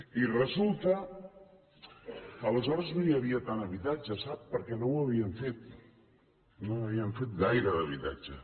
i resulta que aleshores no hi havia tant habitatge sap perquè no ho havien fet no n’havien fet gaire d’habitatge